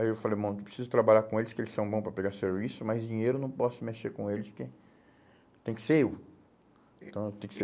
Aí eu falei, mano, eu preciso trabalhar com eles, porque eles são bom para pegar serviço, mas dinheiro eu não posso mexer com eles, porque tem que ser eu. Então eu tenho que ser